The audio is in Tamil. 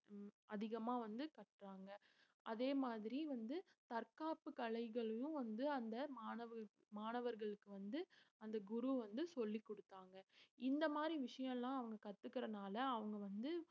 அதிகமா வந்து கற்றாங்க அதே மாதிரி வந்து தற்காப்பு கலைகளையும் வந்து அந்த மாணவர் மாணவர்களுக்கு வந்து அந்த குரு வந்து சொல்லிக் கொடுத்தாங்க இந்த மாதிரி விஷயம் எல்லாம் அவங்க கத்துக்கிறதுனால அவங்க வந்து